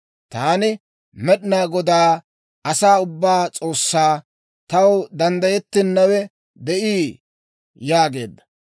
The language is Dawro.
«Taani Med'inaa Godaa, asaa ubbaa S'oossaa. Taw danddayettennawe de'ii?» yaageedda.